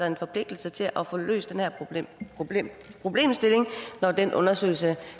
en forpligtelse til at få løst den her problemstilling når den undersøgelse